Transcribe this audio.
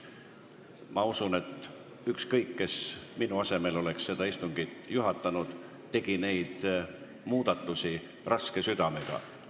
Ma usun, et ükskõik kes oleks minu asemel tänast istungit juhatanud, teinuks ta neid muudatusi raske südamega.